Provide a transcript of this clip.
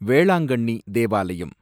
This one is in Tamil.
வேளாங்கண்ணி தேவாலயம்